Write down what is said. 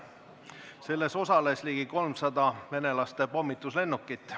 Selles osales ligi 300 venelaste pommituslennukit.